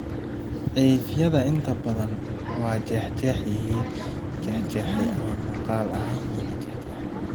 Cidhifyada inta badan waa jeexjeexan yihiin, la jeexjeexay, ama muuqaal ahaan waa la jeexjeexay.